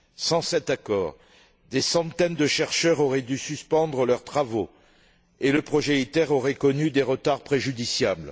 Sans cet accord, des centaines de chercheurs auraient dû suspendre leurs travaux et le projet ITER aurait connu des retards préjudiciables.